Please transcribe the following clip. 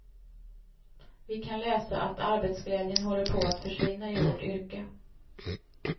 Vi kan läsa att arbetsglädjen håller på att försvinna i vårt yrke.